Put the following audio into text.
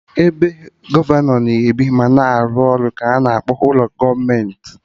Ebe gọvanọ na ebi ma arụ ọrụ ka ana akpọ ụlọ gọọmenti